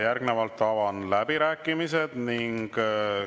Järgnevalt avan läbirääkimised.